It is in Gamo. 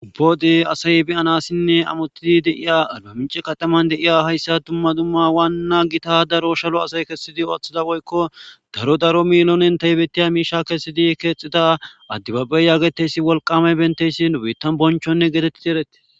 Ubboode asay biyanassinne amotidi deiya arba minci kataman deiya hayssa dumma dumma waanna gita daro shalo asay kessidi ooththida woykko daro daro milonen taybettiya miisha kessidi keexxida addibabey yaageteysi wolqame benteyssi nu bittan bonchonne geetettidi ereti